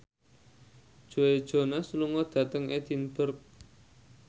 Joe Jonas lunga dhateng Edinburgh